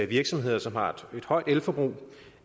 virksomheder som har et højt elforbrug